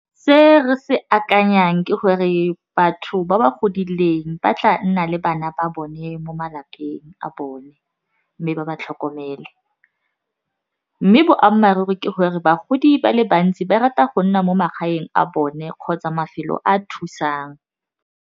Se re se akanyang ke gore batho ba ba godileng ba tla nna le bana ba bone mo malapeng a bone mme ba ba tlhokomele, mme boammaaruri ke gore bagodi ba le bantsi ba rata go nna mo magaeng a bone kgotsa mafelo a thusang.